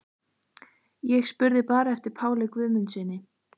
Ég spurði bara eftir Páli Guðmundssyni.